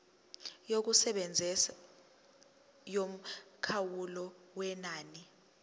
yokusebenza yomkhawulo wenani